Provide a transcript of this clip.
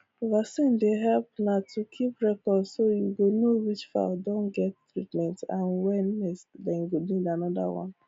vaccin dey help na to keep record so you go know which fowl don get treatment and when next dem go need another one